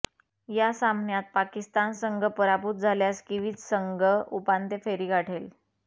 या सामन्यात पाकिस्तान संघ पराभूत झाल्यास किवीज संघ उपांत्य फेरी गाठेल